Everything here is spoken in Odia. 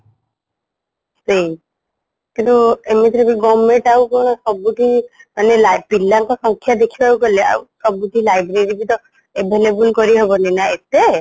ସେଇ କିନ୍ତୁ ଏମିତିରେବି government ଆଉକଣ ସବୁଠି ମାନେ ପିଲାଙ୍କ ସଂଖ୍ୟା ଦେଖିବାକୁ ଗଲେ ଆଉ ସବୁଠି library ବିତ available କରିହବନିନା ଏତେ